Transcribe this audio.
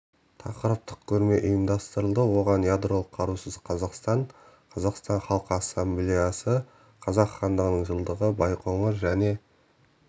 тақырыптық көрме ұйымдастырылды оған ядролық қарусыз қазақстан қазақстан халқы ассамблеясы қазақ хандығының жылдығы байқоңыр және